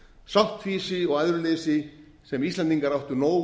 sáttfýsi og æðruleysi sem íslendingar áttu nóg